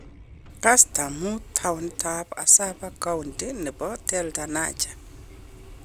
Kasta mut, townit ab Asaba, county nebo Delta, Nigeria.